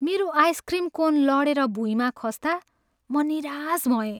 मेरो ice cream cone लडेर भुइँमा खस्ता म निराश भएँ।